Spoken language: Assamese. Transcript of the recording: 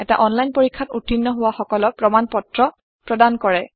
এটা অনলাইন পৰীক্ষাত উত্তীৰ্ণ হোৱা সকলক প্ৰমাণ পত্ৰ প্ৰদান কৰে